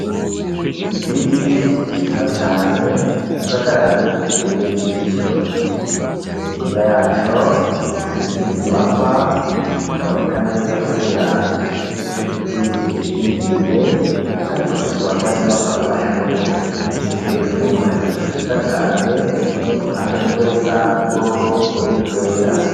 Igiti ciza cane, gisagaraye kibereye ijisho; hirya yaco, hari izindi nyubakwa, zitaboneka neza kubera ico giti kizikingiriye; ariko zishobora kuba ari inyubakwa z'amashure; hejuru hari igicu ciza cane uruhande rumwe rusa n'ubururu urundi rwera.